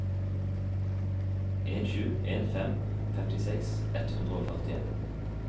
en sju en fem femtiseks ett hundre og førtien